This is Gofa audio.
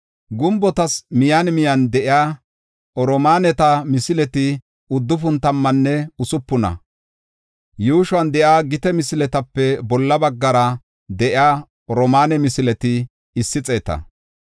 Gumbotas miyen miyen de7iya oromaaneta misileti uddufun tammanne usupuna; yuushuwan de7iya gite misiletape bolla baggara de7iya oromaane misileti issi xeeta.